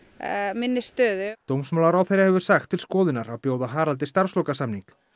minni stöðu dómsmálaráðherra hefur sagt til skoðunar að bjóða Haraldi starfslokasamning